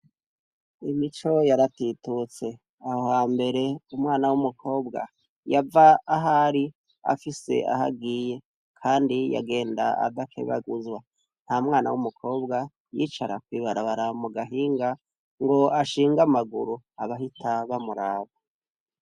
imico yaratitutse ahoha mbere umwana w'umukobwa yava ahari afise ahagiye kandi yagenda adakebaguzwa nta mwana w'umukobwa yicara kw'ibarabara mugahinga ngo ashinga amaguru abahita bamuraba